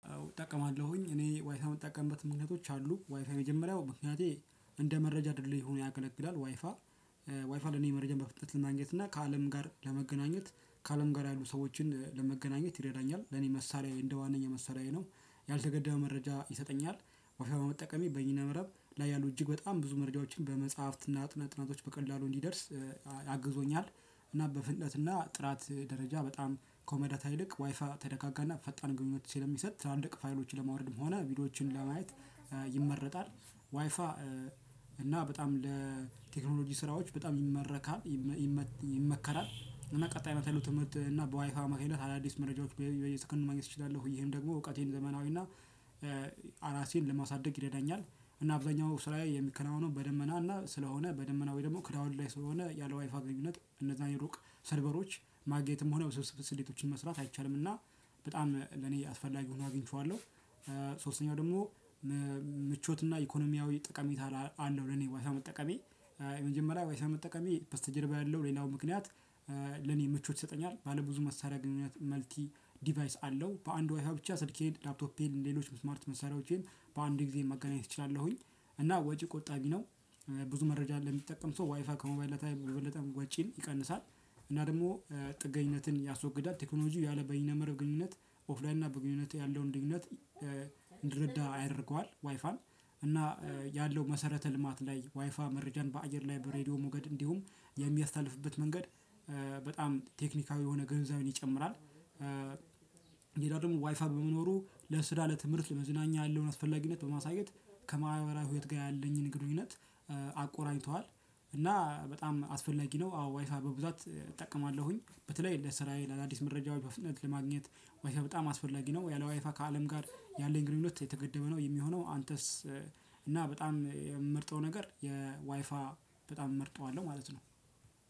እጠቀማለሁኝ እኔ ዋይፋይ የምጠቀምበት ምክንያቶች አሉ ዋይፋይ የመጀመሪያው ምክንያቴ እንደ መረጃ ድልድይ ሆኖ ያገለግላል ዋይፋ ዋይፋ ለኔ መረጃ በፍጥነት ልማግኘት እና ከአለም ጋር ለመገናኘት ከአለም ጋር ያሉ ሰዎችን ለመገናኘት ይረዳኛል። ለኔ መሳሪያዬ እንደ ዋናኛ መሳሪያዬ ነው። ያልተገደበ መረጃ ይሰጠኛል። ዋይፋይ በመጠቀሜ በየነ መረብ ላይ ያሉ እጅግ በጣም ብዙ መረጃዎችን በመጽሐፍትና ጥናቶች በቀላሉ እንዲደርስ አግዞኛል። እና በፍንነትና ጥራት ደረጃ በጣም ኮመዳታ ይልቅ ዋይፋ ተደጋጋና ፈጣን ግንኙነት ስለሚሰጥ ትላልቅ ፋይሎችን ለማውረድም ሆነ ቪዲዮዎችን ለማየት ይመረጣል። ዋይፋ እና በጣም ለቴክኖሎጂ ስራዎች በጣም ይመረካል ይመከራል። እና ቀጣይነት ያለው ትምህርት እና በዋይፋ አማካኝነት አዳዲስ መረጃዎች በየሰከንዱ ማግኘት እችላለሁ ይሄም ደግሞ እውቀቴን ዘመናዊና እራሴን ለማሳደግ ይረዳኛል። እና አብዛኛው ስራየ የሚከናወነው በደመና እና ስለሆነ በደመና ወይ ደግሞ ክላውድ ላይ ስለሆነ ያለ ዋይፋ ግንኙነት እነዛን የሩቅ ሰልቨሮች ማግኘትም ሆነ ውስብስብ ስሌቶችን መስራት አይቻልምና በጣም ለኔ አስፈላጊ ሆኖ አግኝቼዋለሁ። ሶስተኛው ደግሞ ምቾትና ኢኮኖሚያዊ ጠቀሜታ አለው። ለኔ ዋይፋይ መጠቀሜ የመጀመሪያ ዋይፋይ መጠቀሜ በስተጀርባ ያለው ሌላው ምክንያት። ለኔ ምቾት ይሰጠኛል። ባለ ብዙ መሳሪያ ግንኙነት መልቲ ዲቫየስ አለው በአንድ ዋይፋ ብቻ ስልኬን ላፕቶፔን ሌሎችንም ስማርት መሳሪያወቼን በአንድ ግዜ ማገናኘት እችላለሁኝ። እና ወጪ ቆጣቢ ነው። ብዙ መረጃ ለሚጠቀም ሰው ዋይፋ ከሞባይል ዳታ በበለጠም ወጪን ይቀንሳል። እና ደግሞ ጥገኝነትን ያስወግዳል ቴክኖሎጂው ያለበይነ መረብ ግንኙነት ኦፍላይን እና በግንኙነት ያለውን ልዩነት እንድንረዳ ያደርገዋል። ዋይፋን እና ያለው መሰረተ ልማት ላይ ዋይፋ መረጃን በአየር ላይ በራድዮ ሞገድ እንዲሁም የሚያስተላልፍበት መንገድ። በጣም ቴክኒካል የሆነ ግንዛቤን ይጨምራል። ሌላው ደግሚ ዋይፋ በመኖሩ ለስራ ለትምህርት ለመዝናኛ ያለውን አስፈላጊነት በማሳየት ከማህበራዊ ሀይወት ጋር ያለኝን ግንኙነት አቆራኝቷል። እና በጣም አስፈላጊ ነው። አዎ ዋይፋይ በብዛት እጠቀማለሁኝ በተለይ ለስራየ ለአዳዲስ መረጃዎች በፍጥነት ለማግኘት ዋይፋይ በጣም አስፈላጊ ነው። የለ ዋይፋ ከአለም ጋር ያለኝ ግንኙነት የተገደበ ነው የሚሆነው አንተስ? እና በጣም የምመርጠው ነገር የዋይፋ በጣም እመርጠዋለሁ ማለት ነው።